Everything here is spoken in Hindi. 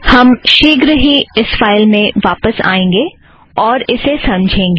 हम शीघ्र ही इस फ़ाइल में वापस आएंगे और इसे समझेंगे